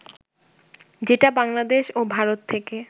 যেটা বাংলাদেশ ও ভারত থেকে